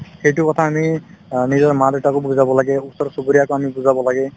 সেইটো কথা আমি অ নিজৰ মা-দেউতাকো বুজাব লাগে ওচৰ-চুবুৰীয়াকো আমি বুজাব লাগে